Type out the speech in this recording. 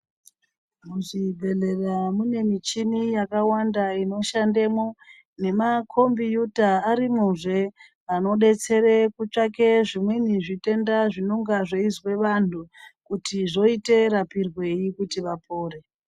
Muzvibhedhlera, mune michhini yakawanda inoshandemwo, nemakhombiyuta, arimwozve, anodetsere kutsvake zvimweni zvitenda, zvinonge zveizwa vanthu, kuti voite rapirweyi kuti vapore.